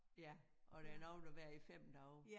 Ja og der nogle der bliver i 5 dage